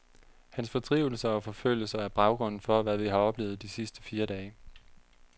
Hans fordrivelser og forfølgelser er baggrunden for, hvad vi har oplevet de sidste fire dage.